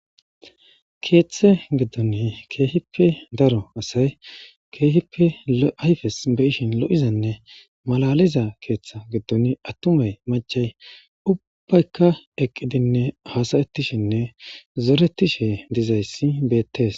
Keeththe giddoni keehippe daro asay keehippe ayfes beishin lo7izanne malaliza keeththa giddon attumay machay ubbaykka eqqidinne hasayetishenne zoretishe dizayssi beettees.